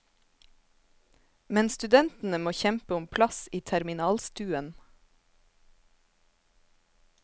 Men studentene må kjempe om plass i terminalstuen.